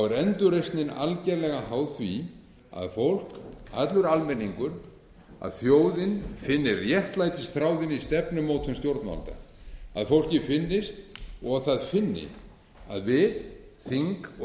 er endurreisnin algerlega háð því að fólk allur almenningur þjóðin finni réttlætisþráðinn í stefnumótun stjórnvalda fólki finnist og það finni að við þing og